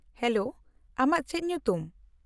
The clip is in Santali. -ᱦᱮᱞᱳ, ᱟᱢᱟᱜ ᱪᱮᱫ ᱧᱩᱛᱩᱢ ?